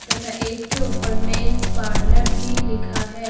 तथा एक के ऊपर मेंस पार्लर भी लिखा है।